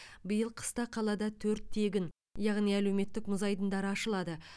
биыл қыста қалада төрт тегін яғни әлеуметтік мұз айдындары ашылады